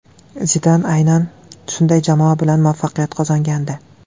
Zidan aynan shunday jamoa bilan muvaffaqiyat qozongandi.